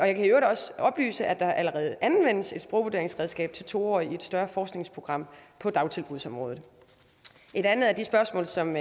i øvrigt også oplyse at der allerede anvendes et sprogvurderingsredskab til to årige i et større forskningsprogram på dagtilbudsområdet et andet af de spørgsmål som